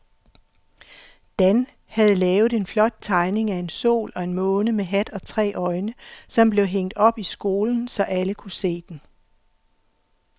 Dan havde lavet en flot tegning af en sol og en måne med hat og tre øjne, som blev hængt op i skolen, så alle kunne se den.